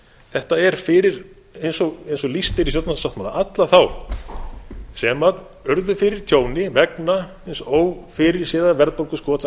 þetta er fyrir eins og lýst er í stjórnarsáttmála alla þá sem urðu fyrir tjóni vegna hins ófyrirséða verðbólguskots áranna tvö